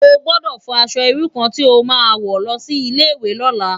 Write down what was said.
Ó gbòdò fò aṣò irú kàn ti ó má wò lòsi Ilé iwé lòlá